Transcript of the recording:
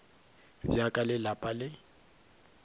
bja ka le lapa le